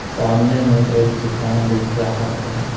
सामने में एक दुकान दिख रहा है।